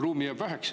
Ruumi jääb väheks.